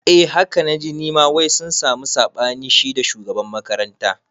Eh haka naji nima wai sun sami saɓani shida shugaban makaranta